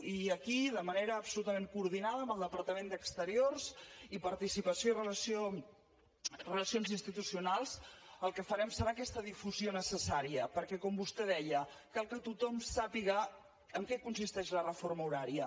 i aquí de manera absolutament coordinada amb el departament d’exteriors i relacions institucionals el que farem serà aquesta difusió necessària perquè com vostè deia cal que tothom sàpiga en què consisteix la reforma horària